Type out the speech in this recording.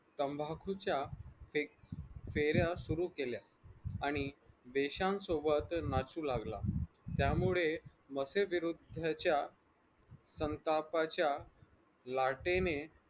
तंबाखूच्या पेऱ्या सुरु केल्या आणि देशांसोबत नाचू लागला त्यामुळे मफे विरुद्धच्या संतापाच्या लाटेनें